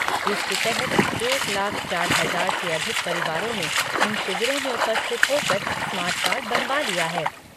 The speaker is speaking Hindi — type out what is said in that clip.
इसके तहत एक लाख चार हजार से अधिक परिवारों ने इन शिविरों में उपस्थित होकर स्मार्ट कार्ड बनावा लिए हैं।